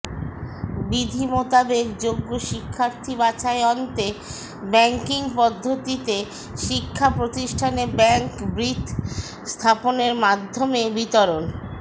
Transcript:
বিধী মোতাবেক যোগ্য শিক্ষার্থী বাছায় অন্তে ব্যাংকিং পদ্ধতিতে শিক্ষা প্রতিষ্ঠানে ব্যাংক বৃথ স্থাপনের মাধ্যমে বিতরণ